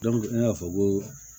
ne y'a fɔ ko